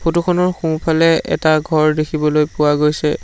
Photo খনৰ সোঁফালে এটা ঘৰ দেখিবলৈ পোৱা গৈছে।